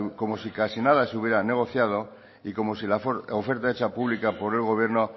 como si casi nada se hubiera negociado y como si la oferta hecha pública por el gobierno